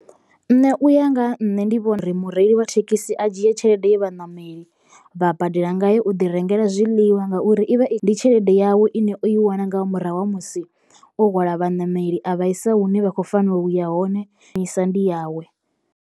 Nṋe uya nga ha nṋe ndi vhona uri mureili wa thekhisi a dzhie tshelede ye vhaṋameli vha badela ngayo u ḓi rengela zwiḽiwa ngauri i vha i ndi tshelede yawe ine o i wana nga murahu ha musi o hwala vhaṋameli a vhaisa hune vha kho fanela uya hone ndi yawe.